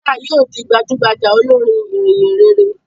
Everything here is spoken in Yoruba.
Tina yíò dì gbajúmò olorin ìhìnrere